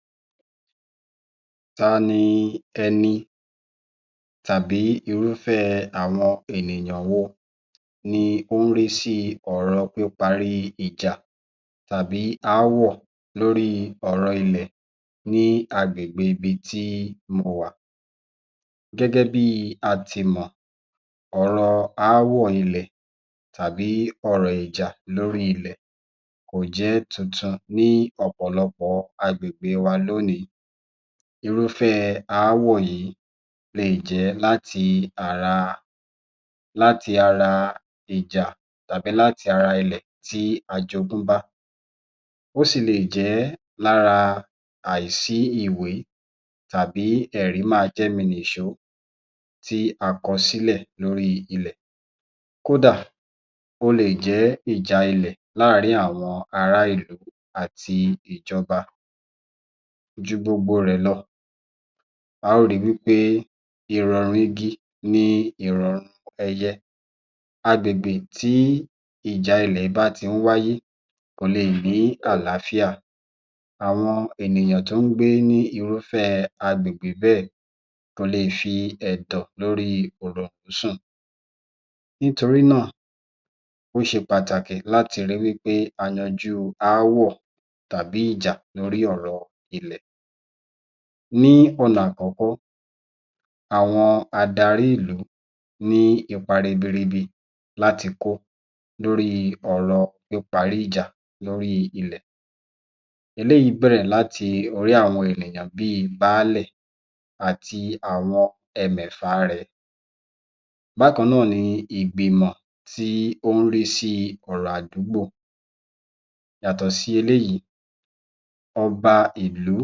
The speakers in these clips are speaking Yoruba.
36. Ta ni ẹni tàbí irufẹ àwọn ènìyàn wo ni ó ń rí sí ọ̀rọ̀ píparí ìjà tàbí aáwọ̀ lórí ọ̀rọ̀ ilẹ̀ ní agbègbè ibi tí mo wà. Gẹ́gẹ́ bí a ti mọ̀, ọ̀rọ̀ aáwọ̀ ilẹ̀ tàbí ọ̀rọ̀ ìjà lórí ilẹ̀ kò jẹ́ tuntun ní ọ̀pọ̀lọpọ̀ agbègbè wa lónìí, irúfẹ́ aáwọ̀ yìí lè jẹ́ láti ara, láti ara ìjà tàbí láti ara ilẹ̀ tí a jogún bá. Ó sì lè jẹ́ lára àìsí ìwé tàbí ẹ̀rí-máa-jẹ́mi-nìṣó tí a kọ sílẹ̀ lórí ilẹ̀, kódà ó lè jẹ́ ìjà ilẹ̀ láàárín àwọn ará ìlú àti ìjọba ju gbogbo rẹ̀ lọ, a ó ri wí pé ìrọ̀rùn igi ni ìrọ̀rùn ẹyẹ. Agbègbè tí ìjà ilẹ̀ bá ti ń wáyé kò lè ní àlàáfíà, àwọn ènìyàn tó ń gbé ní irú agbègbè bẹ́ẹ̀ kò lè fi ẹ̀dọ̀ lórí òroǹró sùn. Nítorí náà, ó ṣe pàtàkì láti rí wí pé a yanjú aáwọ̀ tàbí ìjà lórí ọ̀rọ̀ ilẹ̀. Ní ọ̀nà àkọ́kọ́, àwọn adarí ìlú ní ipa ribiribi láti kó lórí ọ̀rọ̀ píparí ìjà lórí ilẹ̀, eléyìí bẹ̀rẹ̀ láti orí àwọn ènìyàn bíi baálẹ̀ àti àwọn ẹmẹ̀fàa rẹ̀. Bákan náà ni ìgbìmọ̀ tí ó ń rí sí ọ̀rọ̀ àdúgbò yàtọ̀ sí eléyìí, ọba ìlú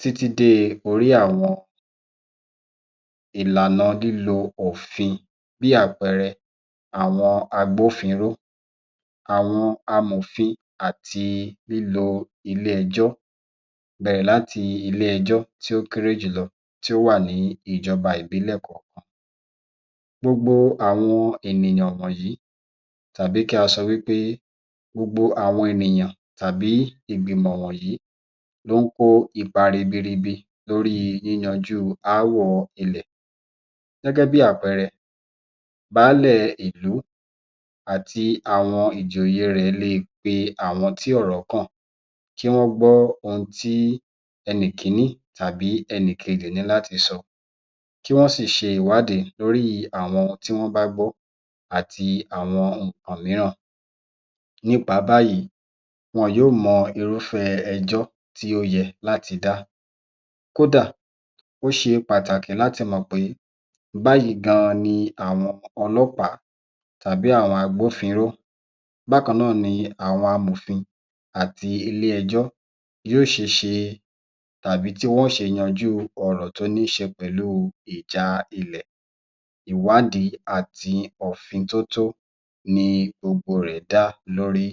títí dé orí àwọn ìlànà lílo òfin bí àpẹẹrẹ àwọn agbófinró, àwọn amòfin àti lílo ilé-ẹjọ́, bẹ̀rẹ̀ láti ilé-ẹjọ́ tí ó kéré jùlọ tí ó wà ní ìjọba ìbílẹ̀ kọ̀ọ̀kan, gbogbo àwọn ènìyàn wọ̀nyí tàbí kí a sọ wí pé gbogbo àwọn ènìyàn tàbí ìgbìmọ̀ wọ̀nyí ló ń kó ipa ribiribi lórí yíyanjú aáwọ̀ ilẹ̀, gẹ́gẹ́ bí àpẹẹrẹ baálẹ̀ ìlú àti àwọn ìjòyè rẹ̀ lè pe àwọn tí ọ̀rọ̀ kàn kí wọ́n gbọ́ ohun tí ẹnì kìíní tàbí ẹnì kejì ní láti sọ, kí wọ́n sì ṣe ìwádìí lórí àwọn tí wọ́n bá gbọ́ àti àwọn nǹkan mìíràn nípa báyìí, wọn yó mọ irúfẹ́ ẹjọ́ tí ó yẹ láti dá. Kódà ó ṣe pàtàkì láti mọ̀ pé báyìí gan ni àwọn olọ́pàá tàbí àwọn agbófinró bákan náà ni àwọn amòfin àti ilé-ẹjọ́ yóò ṣeṣe tàbí tí wọn ó ṣe yanjú ọ̀rọ̀ tó nííṣe pẹ̀lú ìjà ilẹ̀, ìwádìí àti òfíntótó ni gbogbo rẹ̀ dá lórí